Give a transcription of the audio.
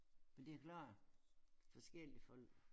Men det klart forskellige folk